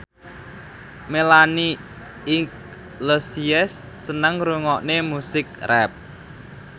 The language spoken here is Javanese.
Melanie Iglesias seneng ngrungokne musik rap